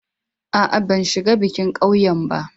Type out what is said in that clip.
A'a, ban shiga bikin ƙauyen ba.